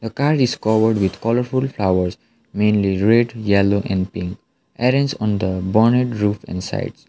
car is covered with colourful flowers mainly red yellow and pink arranged on the bonet roof inside.